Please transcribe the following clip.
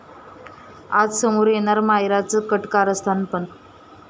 आज समोर येणार मायराचं कट कारस्थान पण...